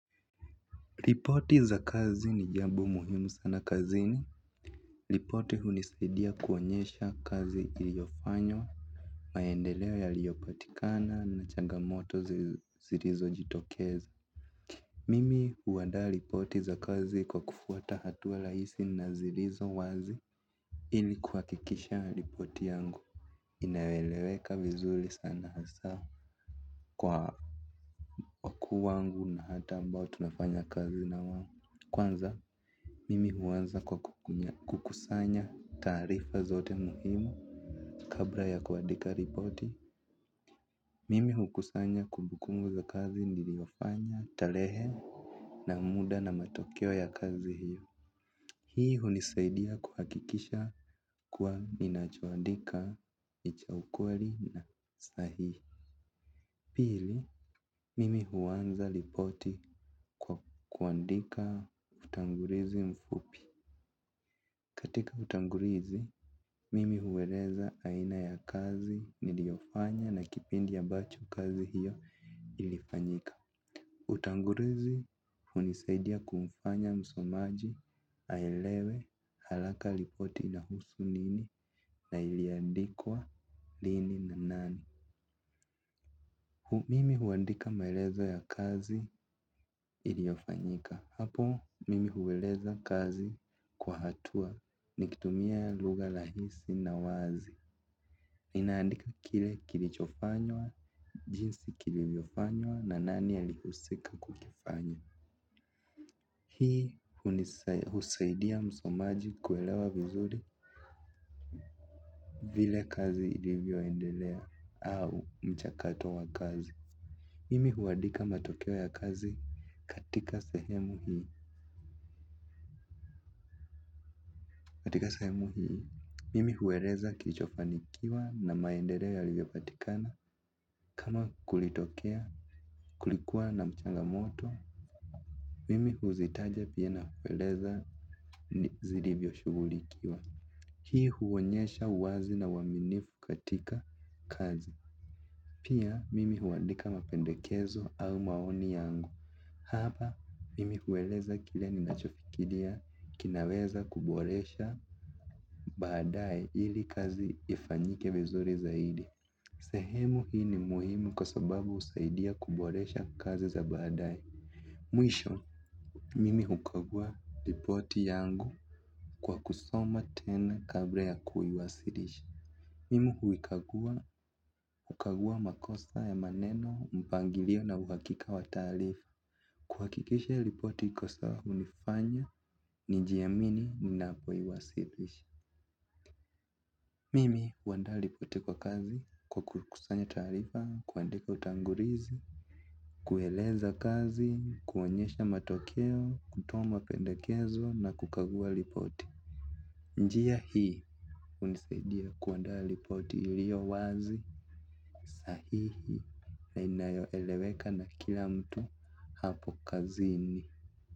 Ripoti za kazi ni jambo muhimu sana kazini ripoti hunisaidia kuonyesha kazi iliofanywa. Maendeleao yaliyopatikana na chagamoto zilizo jitokeza. Mimi huwadaa lipoti za kazi kwa kufuata hatua laisi na zirizo wazi. Ili kuwakikisha ya lipoti yangu inaeleweka vizuli sana hasa kwa wakuu wangu na watu ambao tunafanya kazi na wao. Kwanza mimi huwanza kwa kukunya kukusanya taarifa zote muhimu kabla ya kuadika ripoti. Mimi hukusanya kumbukumbu za kazi niliofanya talehe na muda na matokeo ya kazi hiyo. Hii hunisaidia kuhakikisha kuwa ninachoandika ni cha ukweli na sahihi. Pili, mimi huwanza ripoti kwa kuandika utangulizi mfupi. Katika utangulizi, mimi hueleza aina ya kazi niliofanya na kipindi ambacho kazi hiyo ilifanyika. Utangurizi, unisaidia kumfanya msomaji, aelewe, halaka lipoti inahusu nini na iliandikwa lini na nani. Mimi huandika maelezo ya kazi iliofanyika. Hapo, mimi hueleza kazi kwa hatua nikitumia lugha lahisi na wazi. Ninaandika kile kilichofanywa, jinsi kilivyofanywa na nani alihusika kukifanya. Hii husaidia msomaji kuelewa vizuri vile kazi ilivyoendelea au mchakato wa kazi. Mimi huadika matokeo ya kazi katika sehemu hii. Katika sehemu hii. Mimi huereza kilichofanikiwa na maendereo yalivyo patikana. Kama kulitokea, kulikuwa na mchangamoto. Mimi huzitaja pia na kueleza ni zilivyo shugulikiwa. Hii huonyesha uwazi na uwaminifu katika kazi. Pia mimi huandika mapendekezo au maoni yangu. Hapa mimi hueleza kile ninachofikiria kinaweza kuboresha baadae ili kazi ifanyike vizuri zaidi. Sehemu hii ni muhimu kwa sababu usaidia kuboresha kazi za baadae. Mwisho, mimi hukagua lipoti yangu kwa kusoma tena kabla ya kuiwasilisha. Mimi huikagua, hukagua makosa ya maneno, mpangilio na uhakika wa taarifa. Kuhakikisha lipoti iko sawa unifanya, nijiamini ninapo iwasilisha. Mimi, huandaa lipoti kwa kazi, kwa kukusanya taarifa, kuandika utangurizi, kueleza kazi, kuonyesha matokeo, kutoa mapendakezo na kukagua lipoti. Njia hii unisaidia kuandaa lipoti ilio wazi sahihi, na inayo eleweka na kila mtu hapo kazini.